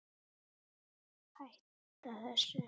Hætta þessu!